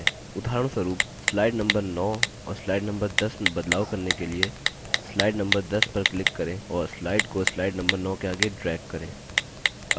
उदाहरणस्वरूप slide number 9 और slide number 10 में बदलाव करने के लिए slide number 10 पर click करें और slide को slide number 9 के आगे drag करें